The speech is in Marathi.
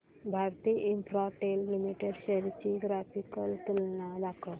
भारती इन्फ्राटेल लिमिटेड शेअर्स ची ग्राफिकल तुलना दाखव